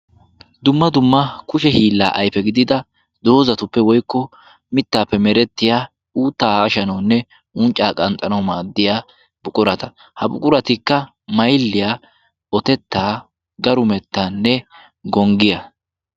Dumma dumma kushe hiila ayfe gidida doozatuppe woykko mittappe meretiyaa uuttaa haashshanawunne unccaa qanxxanaw maaddiyaa buqurata. Ha buquratikka maylliya, otetta, garumettanne gonggiyaa.